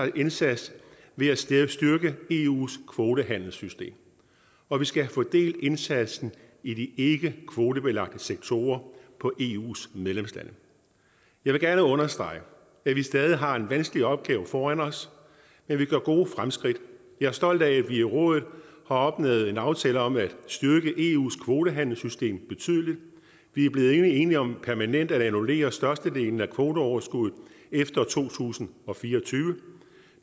indsats ved at styrke eus kvotehandelssystem og vi skal have fordelt indsatsen i de ikkekvotebelagte sektorer på eus medlemslande jeg vil gerne understrege at vi stadig har en vanskelig opgave foran os men vi gør gode fremskridt jeg er stolt af at vi i rådet har opnået en aftale om at styrke eus kvotehandelssystem betydeligt vi er blevet enige om permanent at annullere størstedelen af kvoteoverskuddet efter to tusind og fire og tyve